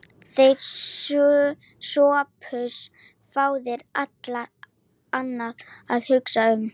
Þér, Sophus, fáið allt annað að hugsa um.